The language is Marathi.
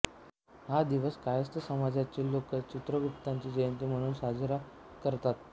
हा दिवस कायस्थ समाजाचे लोक चित्रगुप्ताची जयंती म्हणून साजरा करतात